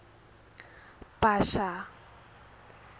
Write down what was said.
bhasha